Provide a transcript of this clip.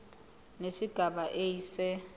nesigaba a se